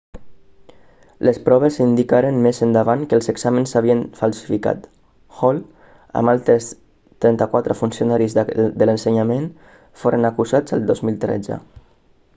les proves indicaren més endavant que els exàmens s'havien falsificat hall amb altres 34 funcionaris de l'ensenyament foren acusats el 2013